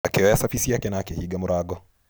Akĩoya cabi ciake na akĩhinga mũrango.